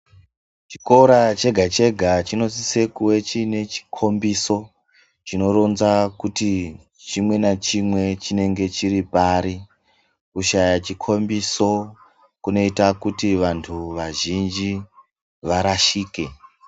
Chikora chega-chega chinosise kuve chiine chikhombiso ,chinoronza kuti chimwe nachimwe chinenge chiri pari. Kushaya chikhombiso ,kunoita kuti vantu vazhinji varashike.